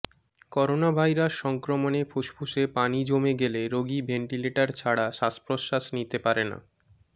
coronavirus সংক্রমণে ফুসফুসে পানি জমে গেলে রোগী ভেন্টিলেটর ছাড়া শ্বাসপ্রশ্বাস নিতে পারে না